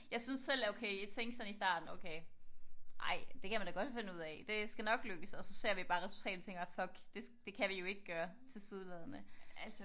Jeg synes selv okay jeg tænkte sådan i starten okay ej det kan man da godt finde ud af. Det skal jo nok lykkes så ja ser vi bare resultatet og tænker bare fuck det kan vi jo ikke gøre tilsyneladende